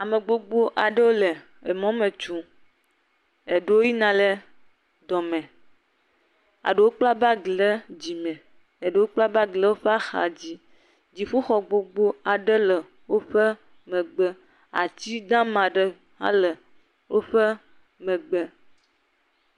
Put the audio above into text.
Ame gbogbo aɖewo le emɔ me tsom, eɖewo yina le dɔme, eɖewo kpla bag ɖe dzime, eɖewo kpla bag ɖe woƒe axadzi, dziƒoxɔ gbogbo aɖe le woƒe megbe, ati dama aɖe hã le woƒe megbe.